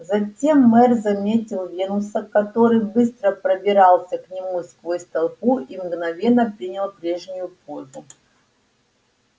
затем мэр заметил венуса который быстро пробирался к нему сквозь толпу и мгновенно принял прежнюю позу